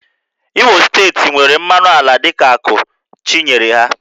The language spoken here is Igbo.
Imo steeti nwere mmanụ ala dịka ákụ́ Chi nyere ha